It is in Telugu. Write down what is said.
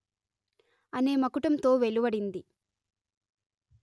అనే మకుటంతో వెలువడింది